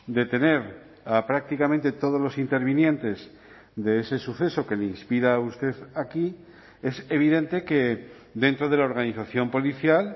detener a prácticamente todos los intervinientes de ese suceso que le inspira a usted aquí es evidente que dentro de la organización policial